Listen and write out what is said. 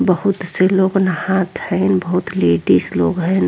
बहुत से लोग नहात हैन बहुत लेडीज लोग हईन।